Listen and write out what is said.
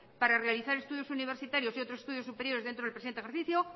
para realizar estudios universitarios y otros estudios superiores dentro del presente ejercicio